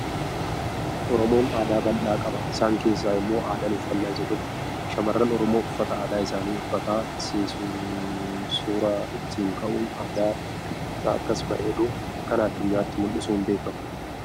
Oromoon aadaa bal'aa qaba isaan keessaa immoo aadaan uffannaa isa tokko. Shamarran Oromoo uffata aadaa isaanii uffata sii suura ittiin ka'uun aadaa isaanii isa akkas bareedu kana addunyaatti mul'isuun beekamu.